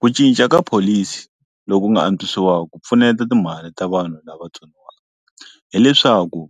Ku cinca ka pholisi loku nga antswisiwa ku pfuneta timhaka ta vanhu lava tsoniwa hileswaku